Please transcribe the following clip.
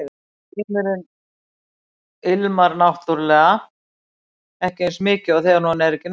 Heimurinn ilmar náttúrlega ekki eins mikið þegar hún er ekki nálægt